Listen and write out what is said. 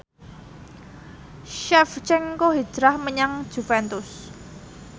Shevchenko hijrah menyang Juventus